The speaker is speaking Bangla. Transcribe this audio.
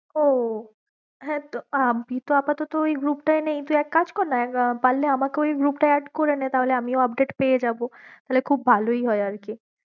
ও হ্যাঁ তো কিন্তু আপাতত তো ঐ group টায়ে নেই, তুই এক কাজ কর না পারলে আমাকে ঐ group টায় add করেনে তাহলে আমিও update পেয়ে যাব, তাহলে খুব ভালোই হয়ে আর কি।